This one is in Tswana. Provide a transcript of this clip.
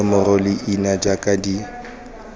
nomoro le leina jaaka di